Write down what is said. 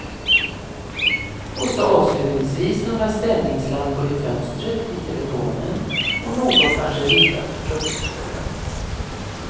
Och så avslutningsvis några stämningslampor i fönstret, vid telefonen och någon kanske riktad på fruktskålen.